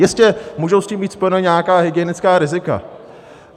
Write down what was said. Jistě, můžou s tím být spojena nějaká hygienická rizika.